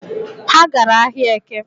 Ha gara ahịa Eke